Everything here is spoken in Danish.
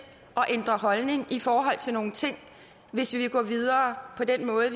at ændre holdning i forhold til nogle ting hvis vi vil gå videre på den måde